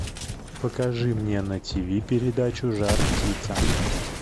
покажи мне на тиви передачу жар птица